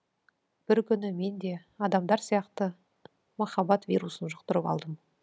бір күні мен де адамдар сияқты махаббат вирусын жұқтырып алдым